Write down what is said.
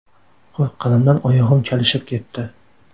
Qo‘rqqanimdan oyog‘im chalishib ketdi.